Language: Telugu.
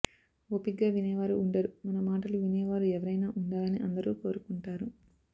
ఓపిగ్గా వినేవారు ఉండరు మనమాటలు వినేవారు ఎవరైనా ఉండాలని అందరూ కోరుకుంటారు